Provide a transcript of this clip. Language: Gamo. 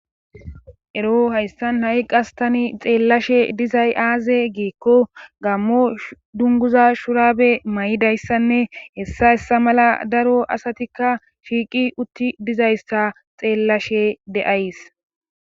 ero hayssan ha7i qas tani xeellashe dizay aaze giikko gammo dunguza shuraabe may7idayssanne hessa hessa mala daro asatikka shiiqi utti dizayssa xeellashe de7ays